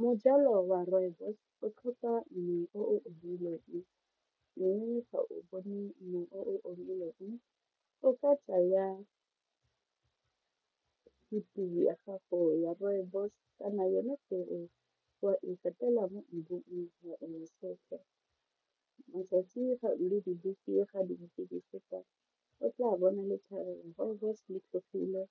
Mo jalo wa rooibos o tlhoka mmu o edileng o omileng o ka tsaya ya gago ya rooibos kana yone peo wa e katela mo mmung wa e nosetsa matsatsi o tla bona letlhare rooibos le tlhogile